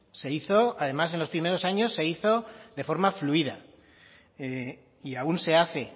se hizo además en los primeros años se hizo de forma fluida y aún se hace